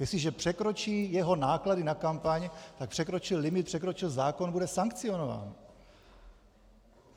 Jestliže překročí jeho náklady na kampaň, tak překročí limit, překročil zákon, bude sankcionován.